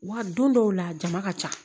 Wa don dɔw la a jama ka ca